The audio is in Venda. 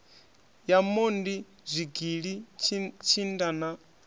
ya mondi zwigili tshinda na